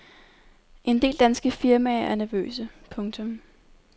En del danske firmaer er nervøse. punktum